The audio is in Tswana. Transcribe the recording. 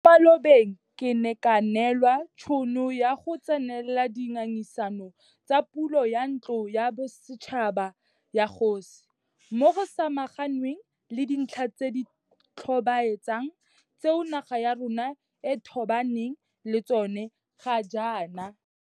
Mo malobeng ke ne ka neelwa tšhono ya go tsenela di ngangisano tsa pulo ya Ntlo ya Bosetšhaba ya Dikgosi, moo go samaganweng le dintlha tse di tlhobaetsang tseo naga ya rona e tobaneng le tsona ga jaana.